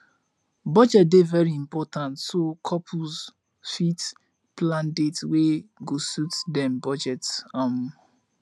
budget dey very important so couples fit plan dates wey go suit dem budget um